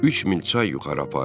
Üç mil çay yuxarı apardı.